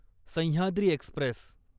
Sahyadri Express